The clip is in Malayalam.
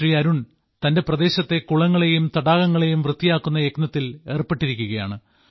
ശ്രീ അരുൺ തന്റെ പ്രദേശത്തെ കുളങ്ങളെയും തടാകങ്ങളെയും വൃത്തിയാക്കുന്ന യത്നത്തിൽ ഏർപ്പെട്ടിരിക്കുകയാണ്